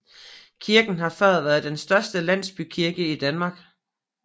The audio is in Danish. Kirken har før været den største landsbykirke i Danmark